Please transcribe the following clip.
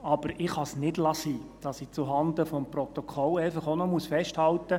Aber ich kann es nicht lassen, sondern muss zuhanden des Protokolls einfach auch noch festhalten: